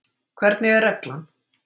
Hvernig er reglan?